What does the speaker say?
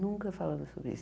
Nunca falamos sobre isso.